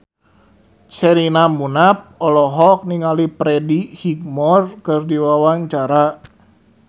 Sherina Munaf olohok ningali Freddie Highmore keur diwawancara